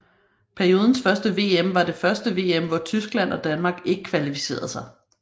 Periodens første VM var det første VM hvor Tyskland og Danmark ikke kvalificerede sig